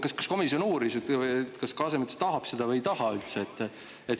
Ja kas komisjon uuris, kas Kasemets seda üldse tahab või ei taha?